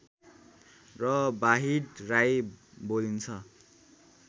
र बाहिड राई बोलिन्छ